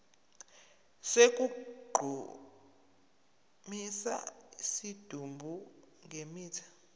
sokugqumisa isidumbu ngemithi